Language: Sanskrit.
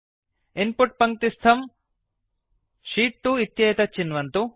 इन् पुट् पङ्क्तिस्थं शीत् 2 इत्येतत् चिन्वन्तु